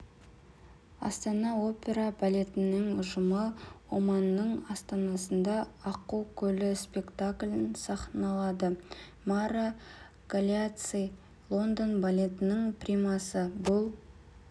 астана опера балетінің ұжымы оманның астанасында аққу көлі спектаклін сахналады мара галеацци лондон балетінің примасы бұл